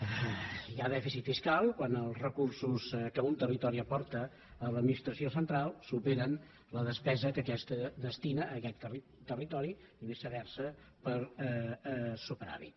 hi ha dèficit fiscal quan els recursos que un territori aporta a l’administració central superen la despesa que aquesta destina a aquest territori i viceversa per superàvit